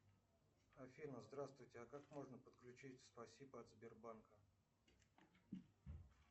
афина здравствуйте а как можно подключить спасибо от сбербанка